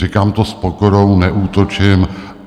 Říkám to s pokorou, neútočím.